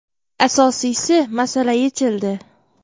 Asosiysi, masala yechildi.